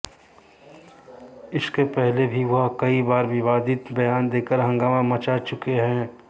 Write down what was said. इसके पहले भी वह कई बार विवादित बयान देकर हंगामा मचा चुके हैं